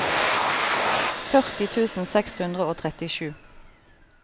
førti tusen seks hundre og trettisju